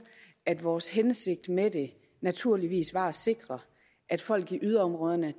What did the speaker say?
at vores hensigt med det naturligvis var at sikre at folk i yderområderne